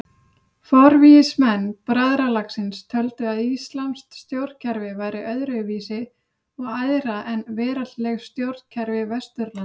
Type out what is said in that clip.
Forvígismenn bræðralagsins töldu að íslamskt stjórnkerfi væri öðru vísi og æðra en veraldleg stjórnkerfi Vesturlanda.